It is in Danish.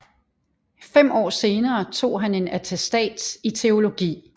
Fem år senere tog han en attestats i teologi